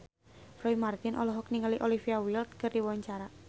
Roy Marten olohok ningali Olivia Wilde keur diwawancara